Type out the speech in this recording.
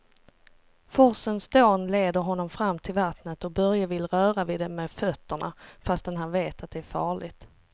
Forsens dån leder honom fram till vattnet och Börje vill röra vid det med fötterna, fast han vet att det är farligt.